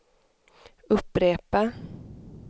upprepa